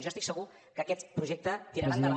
jo estic segur que aquest projecte tirarà endavant